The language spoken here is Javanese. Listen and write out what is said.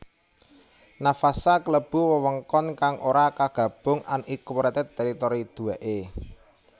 Navassa klebu wewengkon kang ora kagabung unincorporated territory duwèké